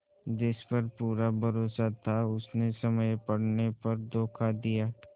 जिस पर पूरा भरोसा था उसने समय पड़ने पर धोखा दिया